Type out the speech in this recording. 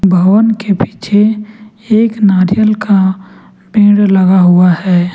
भवन के पीछे एक नारियल का पेड़ लगा हुआ है।